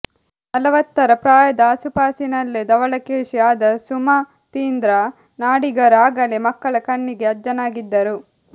ನಲವತ್ತರ ಪ್ರಾಯದ ಅಸುಪಾಸಿನಲ್ಲೇ ಧವಳಕೇಶಿ ಆದ ಸುಮತೀಂದ್ರ ನಾಡಿಗರು ಆಗಲೇ ಮಕ್ಕಳ ಕಣ್ಣಿಗೆ ಅಜ್ಜನಾಗಿದ್ದರು